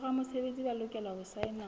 boramesebetsi ba lokela ho saena